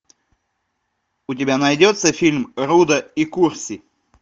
у тебя найдется фильм рудо и курси